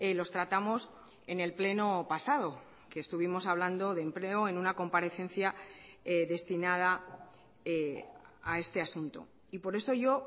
los tratamos en el pleno pasado que estuvimos hablando de empleo en una comparecencia destinada a este asunto y por eso yo